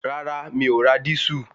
Rárá mi ò ra dísù